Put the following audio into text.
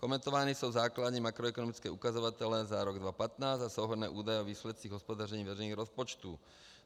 Komentovány jsou základní makroekonomické ukazatele za rok 2015 a souhrnné údaje o výsledcích hospodaření veřejných rozpočtů.